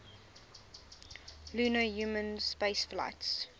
lunar human spaceflights